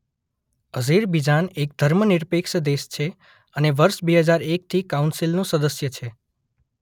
Azerbaijan એક ધર્મનિરપેક્ષ દેશ છે અને વર્ષ બે હજાર એકથી કાઉંસિલ નો સદસ્ય છે.